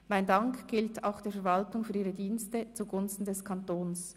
Mein Dank gilt auch der Verwaltung für ihre Dienste zu Gunsten des Kantons.